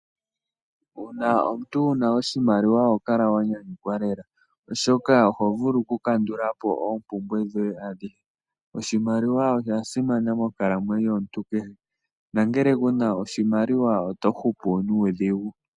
Uuna omuntu wuna oshimaliwa oho kala wanyanyukwa lela, oshoka oho vulu okukandulapo oompumbwe dhoye adhihe. Oshimaliwa osha simana monkalamwenyo yomuntu kehe, nongele kuna oshimaliwa, oto hupu nuudhigu.